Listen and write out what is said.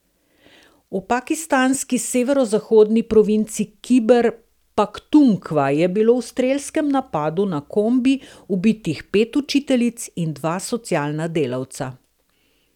V pakistanski severozahodni provinci Kiber Paktunkva je bilo v strelskem napadu na kombi ubitih pet učiteljic in dva socialna delavca.